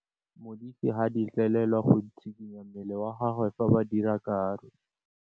Modise ga a letlelelwa go tshikinya mmele wa gagwe fa ba dira karô.